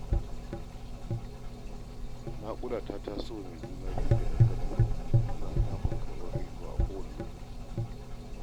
Naƙuda ta taso wa mai juna-biyu gadan-gadan ana dakon karɓar haihuwa a kowane lokaci.